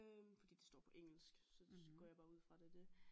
Fordi det står på engelsk så går jeg bare ud fra det er det